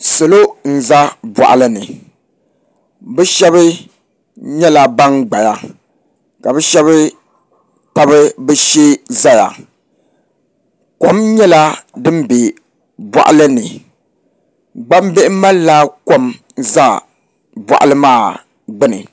Salo n ʒɛ boɣali ni bi shab nyɛla ban gbaya ka bi shab tabi bi shee ʒɛya kom nyɛla din bɛ boɣali ni gbambihi malila kom ʒɛ boɣali maa gbuni